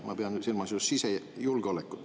Ma pean silmas just sisejulgeolekut.